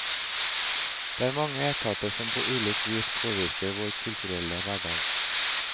Det er mange etater som på ulike vis påvirker vår kulturelle hverdag.